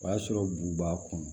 O y'a sɔrɔ bu b'a kɔnɔ